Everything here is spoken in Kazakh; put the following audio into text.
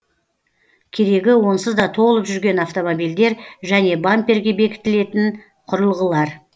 керегі онсыз да толып жүрген автомобильдер және бамперге бекітілетін құрылғылар